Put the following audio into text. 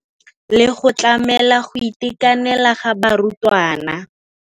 Le go tlamela go itekanela ga barutwana.